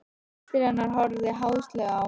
Systir hennar horfði háðslega á hana.